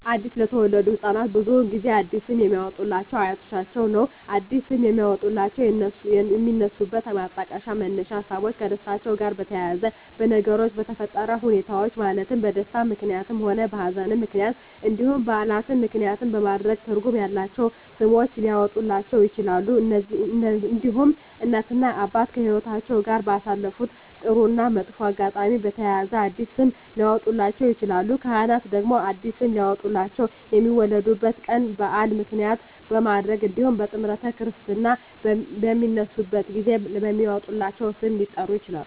አዲስ ለተወለዱ ህፃናት ብዙውን ጊዜ አዲስ ስም የሚያወጡሏቸው አያቶቻቸውን ነው አዲስ ስም የሚያወጧላቸው የሚነሱበት ማጣቀሻ መነሻ ሀሳቦች ከደስታቸው ጋር በተያያዘ በነገሮች በተፈጠረ ሁኔታዎች ማለትም በደስታም ምክንያትም ሆነ በሀዘንም ምክንያት እንዲሁም በዓላትን ምክንያትም በማድረግ ትርጉም ያላቸው ስሞች ሊያወጡላቸው ይችላሉ። እንዲሁም እናት እና አባት ከህይወትአቸው ጋር ባሳለፉት ጥሩ እና መጥፎ አጋጣሚ በተያያዘ አዲስ ስም ሊያወጡላቸው ይችላሉ። ካህናት ደግሞ አዲስ ስም ሊያወጡላቸው የሚወለዱበት ቀን በዓል ምክንያት በማድረግ እንዲሁም ጥምረተ ክርስትና በሚነሱበት ጊዜ በሚወጣላቸው ስም ሊጠሩ ይችላሉ።